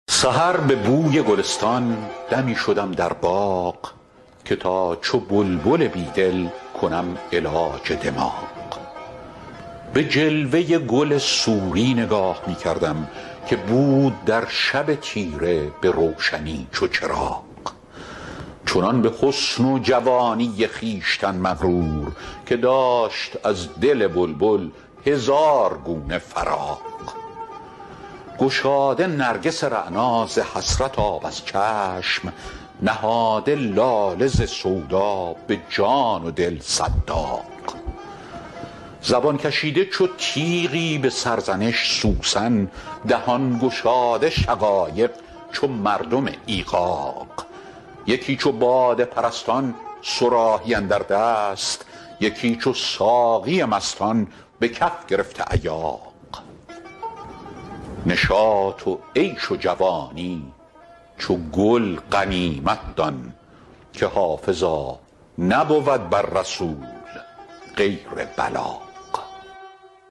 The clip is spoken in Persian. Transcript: سحر به بوی گلستان دمی شدم در باغ که تا چو بلبل بیدل کنم علاج دماغ به جلوه گل سوری نگاه می کردم که بود در شب تیره به روشنی چو چراغ چنان به حسن و جوانی خویشتن مغرور که داشت از دل بلبل هزار گونه فراغ گشاده نرگس رعنا ز حسرت آب از چشم نهاده لاله ز سودا به جان و دل صد داغ زبان کشیده چو تیغی به سرزنش سوسن دهان گشاده شقایق چو مردم ایغاغ یکی چو باده پرستان صراحی اندر دست یکی چو ساقی مستان به کف گرفته ایاغ نشاط و عیش و جوانی چو گل غنیمت دان که حافظا نبود بر رسول غیر بلاغ